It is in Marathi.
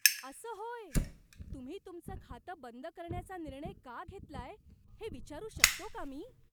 असं होय? तुम्ही तुमचं खातं बंद करण्याचा निर्णय का घेतलाय हे विचारू शकतो का मी?